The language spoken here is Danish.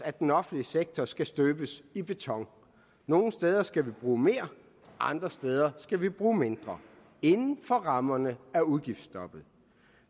at den offentlige sektor skal støbes i beton nogle steder skal vi bruge mere andre steder skal vi bruge mindre inden for rammerne af udgiftsstoppet